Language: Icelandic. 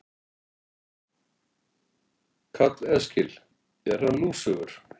Karl Eskil: Er hann lúsugur?